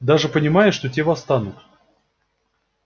даже понимая что те восстанут